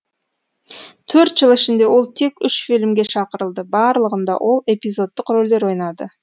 төрт жыл ішінде ол тек үш фильмге шақырылды барлығында ол эпизодтық рөлдер ойнады